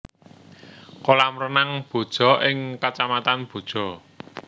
Kolam Renang Boja ing Kacamatan Boja